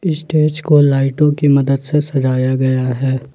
Stage को लाइटों की मदद से सजाया गया है।